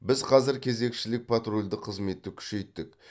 біз қазір кезекшілік патрульдік қызметті күшейттік